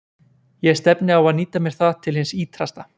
Ég stefni á að nýta mér það til hins ýtrasta.